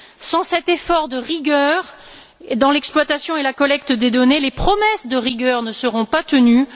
Sans cet effort de rigueur dans l'exploitation et la collecte des données, les promesses de rigueur ne seront pas tenues.